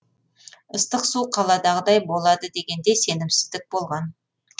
ыстық су қаладағыдай болады дегенде сенімсіздік болған